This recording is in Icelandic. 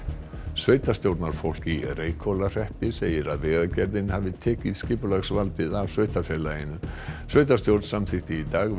sveitarstjórnarfólk í Reykhólahreppi segir að Vegagerðin hafi tekið skipulagsvaldið af sveitarfélaginu sveitarstjórn samþykkti í dag